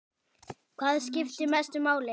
Hvað skiptir mestu máli?